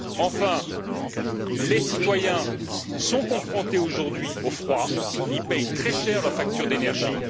Enfin, les citoyens sont confrontés aujourd'hui au froid, ils paient très cher leur facture d'énergie